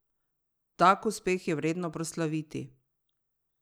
Tak uspeh je vredno proslaviti!